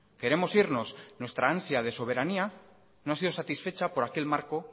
queremos irnos nuestra ansia de soberanía no ha sido satisfecha por aquel marco